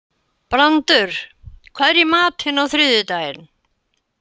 Brandur, hvað er í matinn á þriðjudaginn?